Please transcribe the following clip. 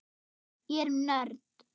Ég er nörd.